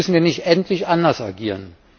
Müssen wir nicht endlich anders agieren?